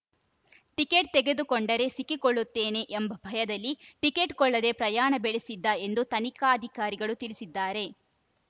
ticket ತೆಗೆದುಕೊಂಡರೆ ಸಿಕ್ಕಿಕೊಳ್ಳುತ್ತೇನೆ ಎಂಬ ಭಯದಲ್ಲಿ ಟಿಕೆಟ್‌ ಕೊಳ್ಳದೆ ಪ್ರಯಾಣ ಬೆಳೆಸಿದ್ದ ಎಂದು ತನಿಖಾಧಿಕಾರಿಗಳು ತಿಳಿಸಿದ್ದಾರೆ